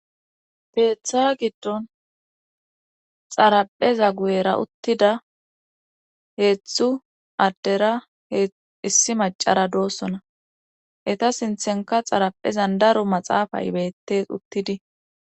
Keetha giddon xarapheza guyera uttida heeththu addera hee issi macara doossona eta sinthenka xaraphezan daro maxaafay beyttes uttidi